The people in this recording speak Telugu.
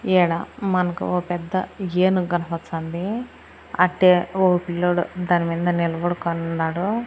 ఈడ మనకు ఒ పెద్ద ఏనుగు కనపచ్చాంది అట్టే ఓ పిల్లోడు దాని మింద నిలబడుకోనుండాడు.